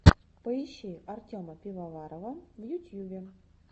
поищи артема пивоварова в ютьюбе